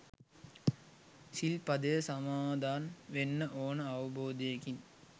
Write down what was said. සිල්පදය සමාදන් වෙන්න ඕන අවබෝධයකින්